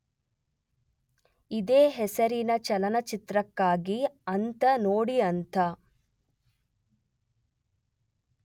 ಇದೇ ಹೆಸರಿನ ಚಲನಚಿತ್ರಕ್ಕಾಗಿ ಅಂತ ನೋಡಿಅಂತ